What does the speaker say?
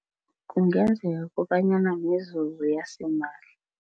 Kungenzeka kobanyana mizuzu yasimahla.